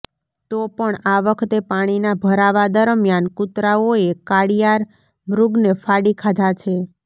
તો પણ આ વખતે પાણીના ભરાવા દરમિયાન કુતરાઓએ કાળિયાર મૃગને ફાડી ખાધા છે